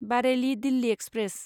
Bareilly Delhi express